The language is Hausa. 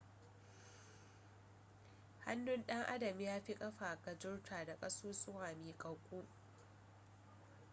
hannun dan adam ya fi kafa gajarta da kasusuwa miƙaƙƙu